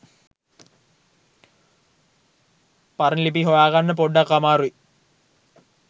පරණ ලිපි හොයාගන්න පොඩ්ඩක් අමාරුයි.